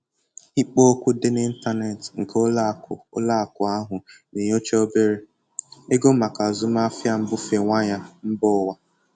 Ikpo okwu dị n'ịntanetị nke ụlọ akụ ụlọ akụ ahụ na-enyocha obere ego maka azụmahịa mbufe waya mba ụwa.